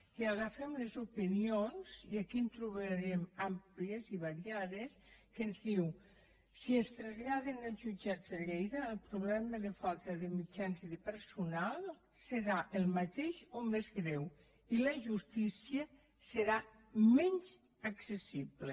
i agafem les opinions i aquí en trobarem d’àmplies i variades que ens diuen si ens traslladen als jutjats de lleida el problema de falta de mitjans i de personal serà el mateix o més greu i la justícia serà menys accessible